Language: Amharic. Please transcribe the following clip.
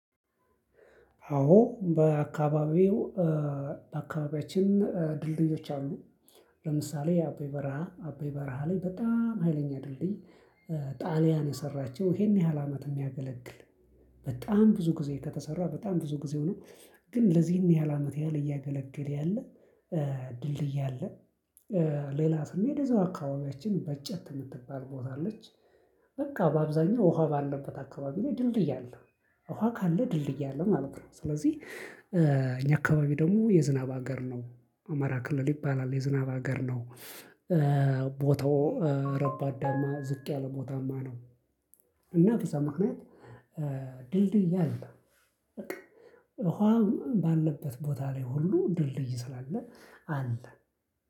አዎ በአካባቢው በአካባቢያችን ድልድዮች አሉ። ለምሳሌ አበይ በረሃ አበይ በረሃ ላይ በጣም ሀይለኛ ድልድይ። ጣሊያን የሰራቸው ይሄን ያህል አመት የሚያገለግል። በጣም ብዙ ጊዜ ከተሰራ በጣም ብዙ ጊዜ ሆኖ ግን ለዚህን ያህል አመት ያህል እያገለገል ያለ ድልድይ አለ። ሌላ ስሜ የዛው አካባቢያችን በጨት የምትባል ቦታ አለች። በቃ በአብዛኛው ውሃ ባለበት አካባቢ ላይ ድልድይ አለ። ውሃ ካለ ድልድይ አለ ማለት ነው። ስለዚህ እኛ አካባቢ ደግሞ የዝናብ ሀገር ነው ማራ ክልል ይባላል የዝናብ ሀገር ነው። ቦታው ረባዳማ ዝቅ ያለ ቦታማ ነው። እና በዛ ምክንያት ድልድይ አለ። በቃ ውሃ ባለበት ቦታ ላይ ሁሉ ድልድይ ስላለ አለ።